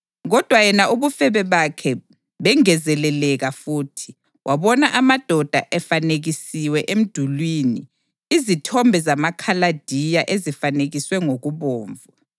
Kodwa yena ubufebe bakhe bengezeleleka futhi. Wabona amadoda efanekisiwe emdulini, izithombe zamaKhaladiya ezifanekiswe ngokubomvu,